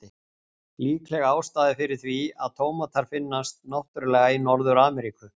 Líkleg ástæða fyrir því er að tómatar finnast náttúrulega í Norður-Ameríku.